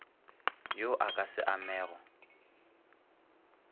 wo o ka se amego